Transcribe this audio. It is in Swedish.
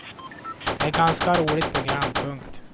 Det är ett ganska roligt program. punkt